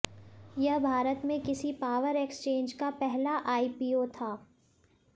यह भारत में किसी पावर एक्सचेंज का पहला आईपीओ था